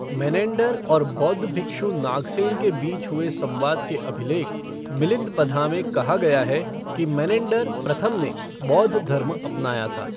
Menander और बौद्ध भिक्षु नागसेन के बीच हुए संवाद के अभिलेख, मिलिंद पन्हा में कहा गया है कि मेनेंडर प्रथम ने बौद्ध धर्म अपनाया था।